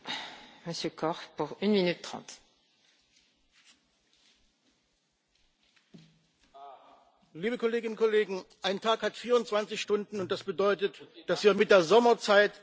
Frau Präsidentin, liebe Kolleginnen und Kollegen! Ein Tag hat 24 Stunden, und das bedeutet, dass wir mit der Sommerzeit keine Stunde dazugewinnen.